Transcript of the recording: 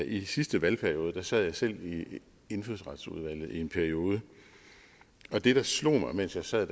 i sidste valgperiode sad jeg selv i indfødsretsudvalget i en periode og det der slog mig mens jeg sad